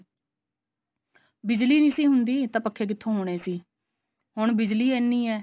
ਬਿਜਲੀ ਨਹੀਂ ਸੀ ਹੁੰਦੀ ਤਾਂ ਪੱਖੇ ਕਿੱਥੋਂ ਹੋਣੇ ਸੀ ਹੁਣ ਬਿਜਲੀ ਇੰਨੀ ਐ